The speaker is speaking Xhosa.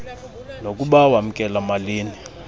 nokuba wamkela malini